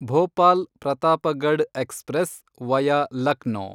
Bhopal Pratapgarh express, via Lucknow